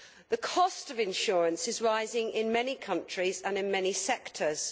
The cost of insurance is rising in many countries and in many sectors.